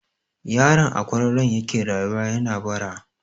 Yaron a kwararon yake rayuwa yana bara.